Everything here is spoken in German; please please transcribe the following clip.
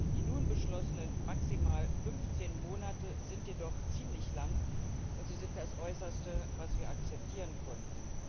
Die nun beschlossenen maximal 15 Monate sind jedoch ziemlich lang, und sie sind das Äußerste, was wir akzeptieren konnten.